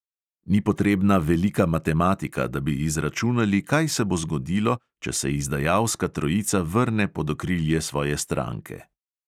Ni potrebna velika matematika, da bi izračunali, kaj se bo zgodilo, če se izdajalska trojica vrne pod okrilje svoje stranke.